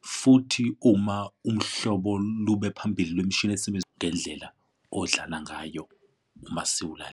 Futhi uma umhlobo lube phambili lwemishini osebenza ngendlela odlala ngayo uma .